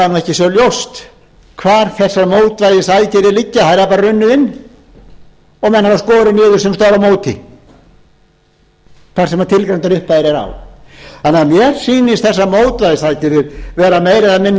það ekki svo ljóst hvar þessar mótvægisaðgerðir liggja þær hafa bara runnið inn og menn hafa skorið niður sums staðar á móti þar sem tilgreindar upphæðir eru á mér sýnast þessar mótvægisaðgerðir vera meira eða